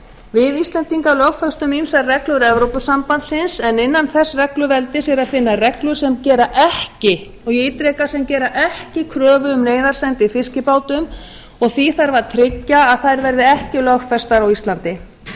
við íslendingar lögfestum ýmsar reglur evrópusambandsins en innan þess regluveldis er að finna reglur sem gera ekki og ég ítreka sem gera ekki kröfu um neyðarsendi í fiskibátum og því þarf að tryggja að þær verði ekki lögfestar á íslandi það